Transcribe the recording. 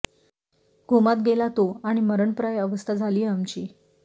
कोमात गेला तो आणि मरणप्राय अवस्था झाली आमची